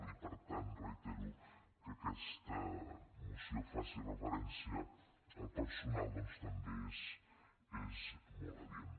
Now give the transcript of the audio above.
i per tant reitero que aquesta moció faci referència al personal doncs també és molt adient